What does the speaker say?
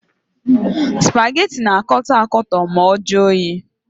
Supageti na-akọtọ akọtọ ma ọ juo oyi.